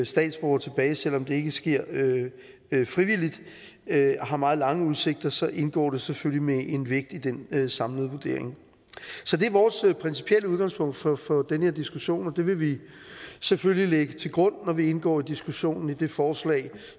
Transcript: statsborgere tilbage selv om det ikke sker frivilligt har meget lange udsigter så indgår det selvfølgelig med en vægt i den den samlede vurdering så det er vores principielle udgangspunkt for den her diskussion og det vil vi selvfølgelig lægge til grund når vi indgår i diskussionen af det forslag